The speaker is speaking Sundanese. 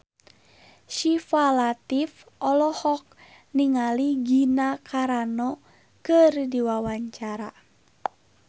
Syifa Latief olohok ningali Gina Carano keur diwawancara